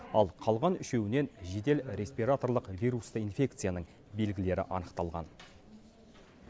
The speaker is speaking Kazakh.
ал қалған үшеуінен жедел респираторлық вирусты инфекцияның белгілері анықталған